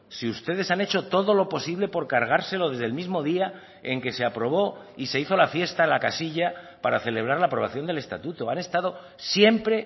si ustedes han hecho todo lo posible por cargárselo desde el mismo día en que se aprobó y se hizo la fiesta en la casilla para celebrar la aprobación del estatuto han estado siempre